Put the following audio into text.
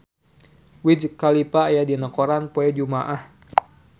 Wiz Khalifa aya dina koran poe Jumaah